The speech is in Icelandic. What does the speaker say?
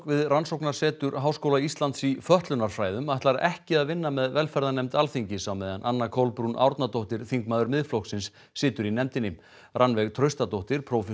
við rannsóknarsetur Háskóla Íslands í fötlunarfræðum ætlar ekki að vinna með velferðarnefnd Alþingis á meðan Anna Kolbrún Árnadóttir þingmaður Miðflokksins situr í nefndinni Rannveig Traustadóttir prófessor